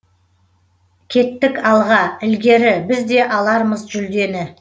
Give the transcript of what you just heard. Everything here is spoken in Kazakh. кеттік алға ілгері біз де алармыз жүлдені